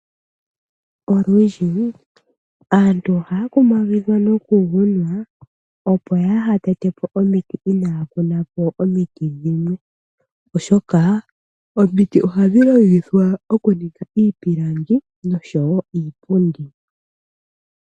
Olundji aantu ohaya kumagidhwa noku opo kaya tetepo omiti inaya kunapo omiti dhimwe oshoka omiti ohadhi longithwa okuninga iipilangi niipundi.